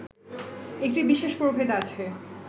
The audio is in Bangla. একটি বিশেষ প্রভেদ আছে